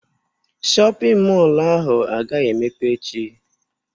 Shọpịn mọlụ ahụ agaghị emepe echi.